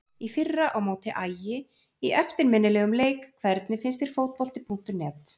Í fyrra á móti Ægi í eftirminnilegum leik Hvernig finnst þér Fótbolti.net?